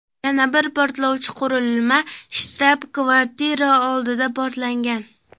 Yana bir portlovchi qurilma shtab-kvartira oldida portlagan.